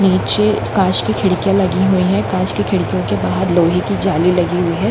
-- नीचे कांच की खिड़कियाँ लगी हुई है कांच के खिड़कियों के बाहर लोहे की जाली लगी हुई है।